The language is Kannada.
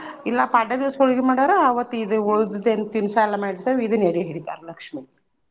ಇಲ್ಲಾ ಪಾಡ್ಯಾ ದಿವ್ಸ ಹೊಳ್ಗಿ ಮಾಡಾವ್ರ ಅವತ್ತ ಇದ್ ಉಳ್ದಿದ್ದೀನ್ ತಿನ್ಸಾ ಎಲ್ಲಾ ಮಾಡಿರ್ತೆವ ಇದನ್ನ ಎಡಿ ಹಿಡಿತಾರ ಲಕ್ಷ್ಮೀಗ.